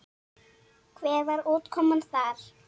Hver var útkoman þar?